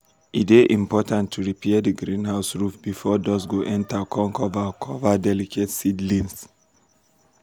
e dey important to repair d greenhouse roof before dust go enter come cover cover delicate seedlings.